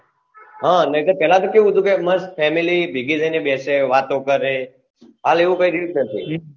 હા નકર પહેલા તો કેવું હતું કે મસ્ત family ભેગી થઈને બેસે વાતો કરે હાલ એવું કઈ રહ્યું જ નથી